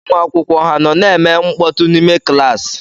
Ụmụ akwụkwọ ha nọ na-eme mkpọtụ n'ime klaasị?